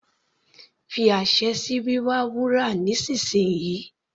Fi àṣẹ sí wíwa wúrà nísìnsìnyí.